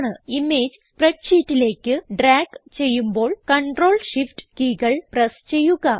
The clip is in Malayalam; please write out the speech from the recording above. ഇമേജ് സ്പ്രെഡ്ഷീറ്റിലേക്ക് ഡ്രാഗ് ചെയ്യുമ്പോൾ കണ്ട്രോൾ Shift കീകൾ പ്രസ് ചെയ്യുക